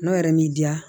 N'o yɛrɛ m'i diya